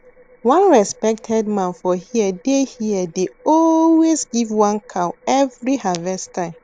one respected man for here dey here dey always give one cow every harvest time